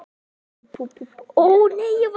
Við erum ekki öruggir er það?